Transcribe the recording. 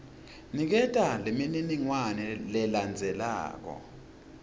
niketa lemininingwane lelandzelako